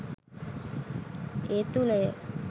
ඒ තුළ ය.